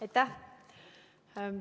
Aitäh!